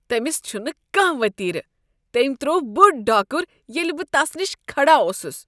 تمِس چھُنہٕ کانٛہہ ؤتیرٕ۔ تمہِ ترٛوو بوٚڑ ڈاكُر ییٚلہِ بہٕ تس نِش كھڈا اوسُس۔